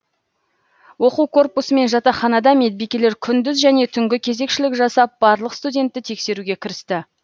оқу корпусы мен жатақханада медбикелер күндіз және түнгі кезекшілік жасап барлық студентті тексеруге кірісті